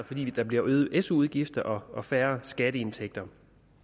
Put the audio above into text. fordi der bliver øgede su udgifter og færre skatteindtægter